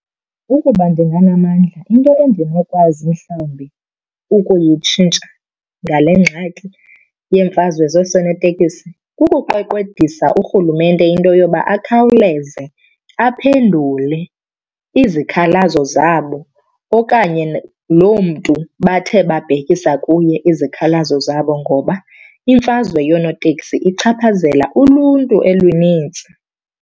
Ukuba ndinganamandla into endinokwazi mhlawumbi ukuyitshintsha ngale ngxaki yeemfazwe zoosoneteksi kukuqweqwedisa urhulumente into yoba akhawuleze aphendule izikhalazo zabo okanye loo mntu bathe babhekisa kuye izikhalazo zabo. Ngoba imfazwe yonootekisi ichaphazela uluntu olunintsi.